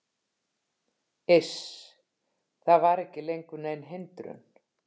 Iss. það var ekki lengur nein hindrun.